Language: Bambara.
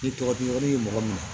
Ni tɔgɔ di yɔrɔ ye mɔgɔ min ye